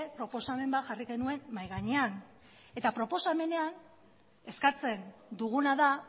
proposamen bat jarri genuen mahai gainean eta proposamenean eskatzen duguna da